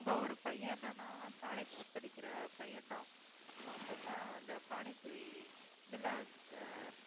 அங்க ஒரு பையன் என்னன்னா college படிக்கிற பையன்தான் அவன் பாத்தா அந்த panipuri இதுல வந்~ ஆஹ்